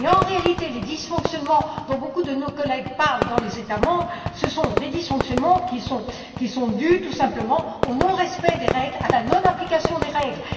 En réalité, les dysfonctionnements dont beaucoup de nos collègues parlent dans les États membres sont des dysfonctionnements qui sont tout simplement dus au non respect et à la non application des règles.